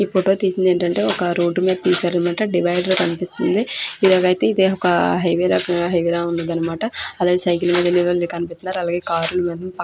ఈ ఫోటో తీసింది ఏంటంటే ఒక రోడ్డు మీద తీశారు కనిపిస్తుంది. డివైడర్ కనిపిస్తుంది. ఇలాగైతే ఇదే ఒక హైవే లో ఉంది అన్నమాట. అలాగే సైకిల్ మెద వెళ్లే వాళ్ళు కనిపిస్తున్నారు. అలాగే కార్ లు మెద --